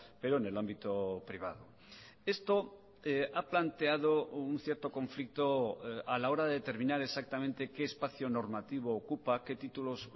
pero en el ámbito privado esto ha planteado un cierto conflicto a la hora de determinar exactamente qué espacio normativo ocupa qué títulos